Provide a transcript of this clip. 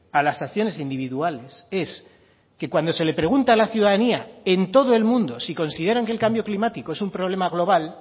a las acciones individuales es que cuando se le pregunta a la ciudadanía en todo el mundo si consideran que el cambio climático es un problema global